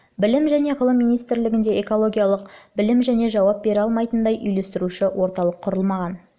білім және ғылым министрлігінде экологиялық білім мен жауап бере алатындай үйлестіруші орталық құрылмаған